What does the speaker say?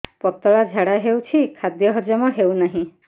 ପତଳା ଝାଡା ହେଉଛି ଖାଦ୍ୟ ହଜମ ହେଉନାହିଁ